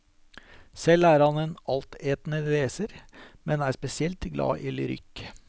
Selv er han en altetende leser, men er spesielt glad i lyrikk.